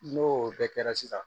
N'o bɛɛ kɛra sisan